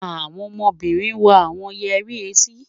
Àwọn ọmọbínrin wọ̀ awọn yẹri ẹ̀tí.